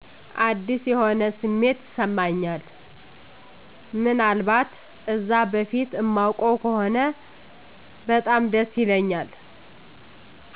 አዲስ የሆነ ስሜት ይስማኛል ምን አልባት እዛ በፊት እማውቀው ከሆነ በጣም ደስ ይለኛል።